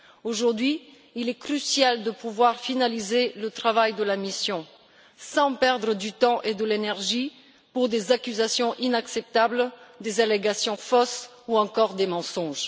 Aujourd'hui, il est crucial de finaliser le travail de la mission sans perdre de temps et d'énergie pour des accusations inacceptables, des allégations fausses ou encore des mensonges.